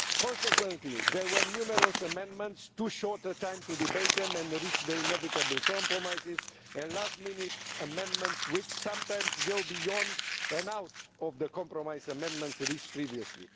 Consequently there were numerous amendments, too short a time to debate them and reach the inevitable compromises, and last minute amendments which sometimes go beyond and outside the compromise amendments reached previously.